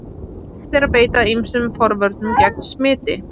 Hægt er að beita ýmsum forvörnum gegn smiti.